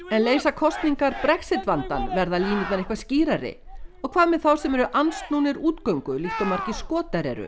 en leysa kosningar Brexit vandann verða línurnar eitthvað skýrari og hvað með þá sem eru andsnúnir útgöngu líkt og margir Skotar eru